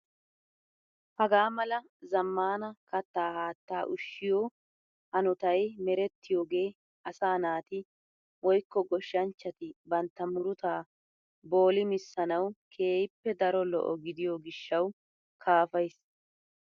Hagaa mala zammaana kattaa haattaa ushshiyo hanotay merettiyogee asaa naati woykko goshshanchchati bantta murutaa boolimissanawu keehippe daro lo"o gidiyo gishshawu kaafays.